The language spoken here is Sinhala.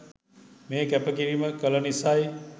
මේ කැප කිරීම කළ නිසයි.